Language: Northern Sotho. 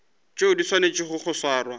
tšeo di swanetšego go swarwa